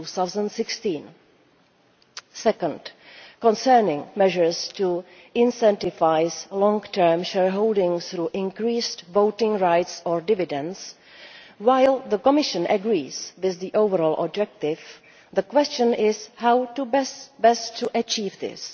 2016. Second, concerning measures to incentivise long term shareholdings through increased voting rights or dividends while the Commission agrees with the overall objective, the question is how best to achieve this?